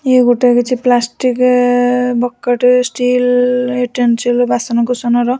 ଇଏ ଗୋଟେ କିଛି ପ୍ଲାଷ୍ଟିକ୍ ଏ ବକେଟ ଷ୍ଟିଲ୍ ଇଉଟେନ୍ସିଲ୍ ବାସନ-କୁସନ ର।